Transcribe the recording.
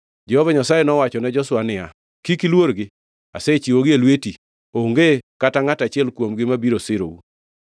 Jehova Nyasaye nowachone Joshua niya, “Kik iluorgi; asechiwogi e lwetu. Onge kata ngʼata achiel kuomgi mabiro sirou.”